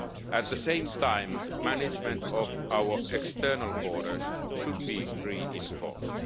smuggling. At the same time, management of our external borders should be reinforced.